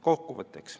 Kokkuvõtteks.